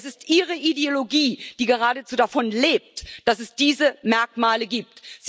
Es ist Ihre Ideologie, die geradezu davon lebt, dass es diese Merkmale gibt.